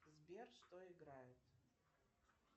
сбер что играет